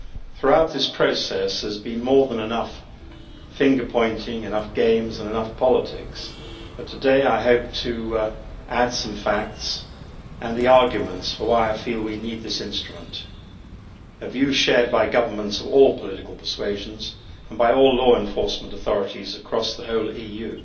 Throughout this process there has been more than enough finger pointing, enough games and enough politics, but today I hope to add some facts and the arguments for why I feel we need this instrument a view shared by governments of all political persuasions and by all law enforcement authorities across the whole EU.